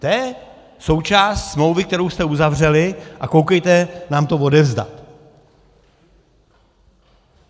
To je součást smlouvy, kterou jste uzavřeli, a koukejte nám to odevzdat.